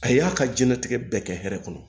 A y'a ka diɲɛlatigɛ bɛɛ kɛ hɛrɛ kɔnɔ